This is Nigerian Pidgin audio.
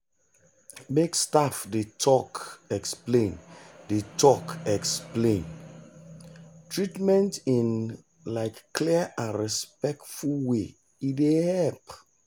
make staff dey talk explain dey talk explain treatment in um clear and respectful way e dey help.